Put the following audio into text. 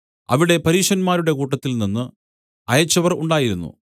അവിടെ പരീശന്മാരുടെ കൂട്ടത്തിൽനിന്ന് അയച്ചവർ ഉണ്ടായിരുന്നു